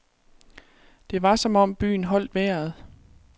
Det var som om byen holdt vejret.